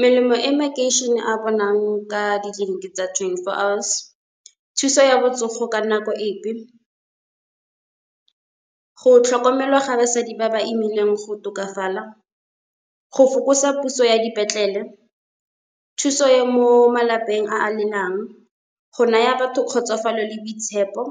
Melemo e makeišene a bonang ka ditleliniki tsa twenty-four hours. Thuso ya botsogo ka nako epe, go tlhokomelwa ga basadi ba ba imileng go tokafala, go fokotsa puso ya dipetlele. Thuso ya mo malapeng a a , go naya batho kgotsofalo le boitshepo.